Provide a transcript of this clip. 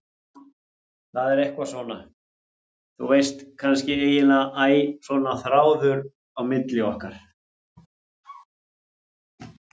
Það er eitthvað svona, þú veist, kannski, eiginlega æ, svona þráður á milli okkar.